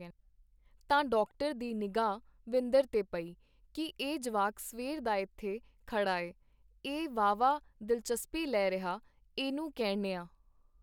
ਤਾਂ ਡਾਕਟਰ ਦੀ ਨਿਗ੍ਹਾ ਵਿੰਦਰ ਤੇ ਪਈ ਕੀ ਇਹ ਜਵਾਕ ਸਵੇਰ ਦਾ ਇੱਥੇ ਖੜਾਏ ਇਹ ਵਾਹਵਾ ਦਿਲਚਸਪੀ ਲੈ ਰਿਹਾ ਇਹਨੂੰ ਕਹਿਣੇਆ.